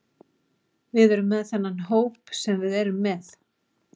Við erum með þennan hóp sem við erum með.